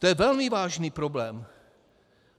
To je velmi vážný problém.